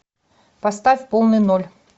поставь полный ноль